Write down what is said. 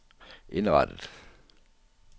indrettet